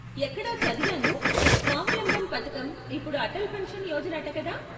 ఎక్కడో చదివాను స్వావలంబన పథకం ఇప్పుడు అటల్ పెన్షన్ యోజన అట కదా?